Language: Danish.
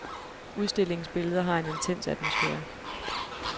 Udstillingens billeder har en intens atmosfære.